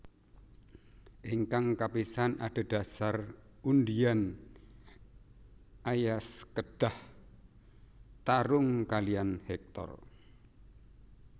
Ingkang kapisan adhedhasar undian Aias kedah tarung kalihan Hektor